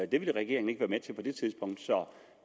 det ville regeringen ikke være med til på det tidspunkt så